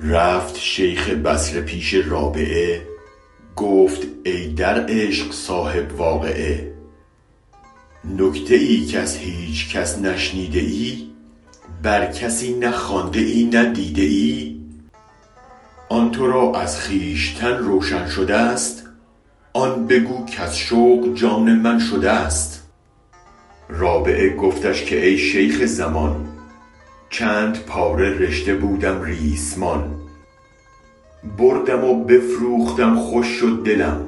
رفت شیخ بصره پیش رابعه گفت ای در عشق صاحب واقعه نکته ای کز هیچ کس نشنیده ای بر کسی نه خوانده ای نه دیده ای آن ترا از خویشتن روشن شده ست آن بگو کز شوق جان من شده ست رابعه گفتش که ای شیخ زمان چند پاره رشته بودم ریسمان بردم و بفروختم خوش شد دلم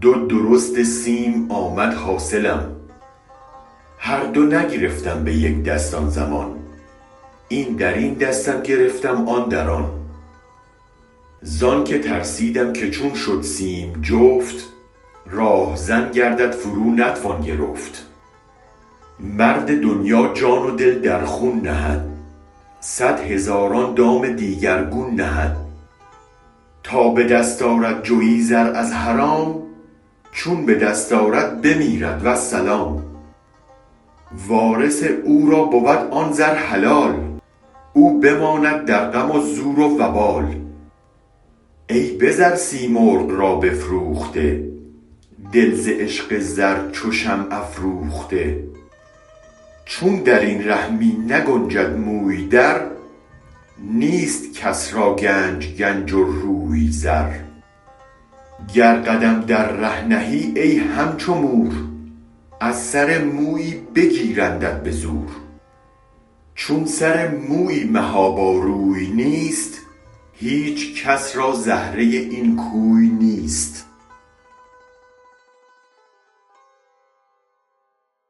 دو درست سیم آمد حاصلم هر دو نگرفتم به یک دست آن زمان این درین دستم گرفتم آن در آن زانک ترسیدم که چون شد سیم جفت راهزن گردد فرو نتوان گرفت مرد دنیا جان و دل در خون نهد صد هزاران دام دیگرگون نهد تا به دست آرد جوی زر از حرام چون به دست آرد بمیرد والسلام وارث او را بود آن زر حلال او بماند در غم و زور وبال ای به زر سیمرغ را بفروخته دل ز عشق زر چو شمع افروخته چون درین ره می نگنجد موی در نیست کس را گنج گنج و روی زر گر قدم در ره نهی ای هم چو مور از سر مویی بگیرندت به زور چون سر مویی محابا روی نیست هیچ کس را زهره این کوی نیست